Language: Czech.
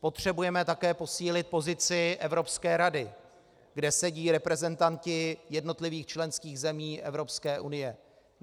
Potřebujeme také posílit pozici Evropské rady, kde sedí reprezentanti jednotlivých členských zemí EU.